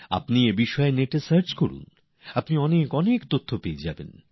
আপনারা এগুলির সম্পর্কে নেটএ সার্চ করুন আপনারা অনেক কিছু জানতে পারবেন